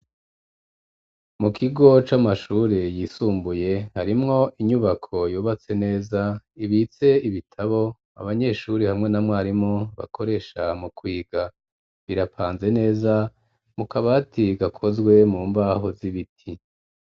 Mu kigo c'amashure yisumbuye, harimwo inyubako yubatse neza, ibitse ibitabo abanyeshuri hamwe na mwarimu bakoresha mu kwiga, birapanze neza mu kabati gakozwe mu mbaho z'ibiti.